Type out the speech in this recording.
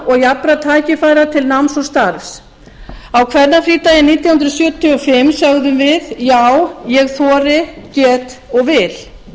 og jafnra tækifæra til náms og starfs á kvennafrídaginn nítján hundruð sjötíu og fimm sögðum við já ég þori get og vil